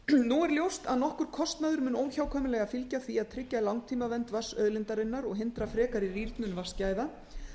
nú er ljóst að nokkur kostnaður mun óhjákvæmilega fylgja því að tryggja langtímavernd vatnsauðlindarinnar og hindra frekari rýrnun vatnsgæða